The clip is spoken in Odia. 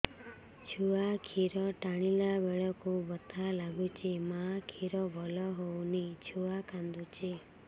ଛୁଆ ଖିର ଟାଣିଲା ବେଳକୁ ବଥା ଲାଗୁଚି ମା ଖିର ଭଲ ହଉନି ଛୁଆ କାନ୍ଦୁଚି